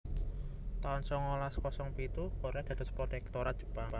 taun songolas kosong pitu Korea dados protektorat Jepang